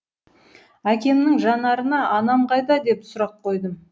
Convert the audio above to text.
әкемнің жанарына анам қайда деп сұрақ қойдым